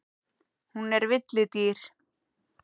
Hún er villidýr.